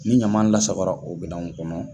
Ni ɲama lasakola o minan ninnu kɔnɔ.